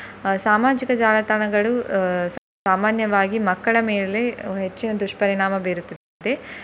ಅಹ್ ಸಾಮಾಜಿಕ ಜಾಲತಾಣಗಳು ಅಹ್ ಸಾಮಾನ್ಯವಾಗಿ ಮಕ್ಕಳ ಮೇಲೆ ಹೆಚ್ಚಿನ ದುಷ್ಪರಿಣಾಮ ಬೀರುತ್ತೆ.